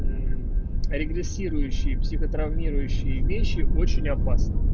регрессирующие психотравмирующие вещи очень опасны